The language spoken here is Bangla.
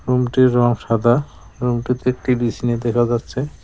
রুমটির রং সাদা রুমটিতে একটি বিছনি দেখা যাচ্ছে।